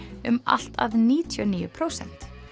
um allt að níutíu og níu prósent